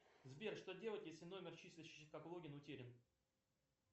сбер что делать если номер числящийся как логин утерян